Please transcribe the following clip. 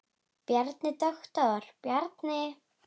Bjarni, doktor Bjarni.